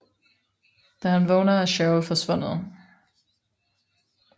Da han vågner er Cheryl forsvundet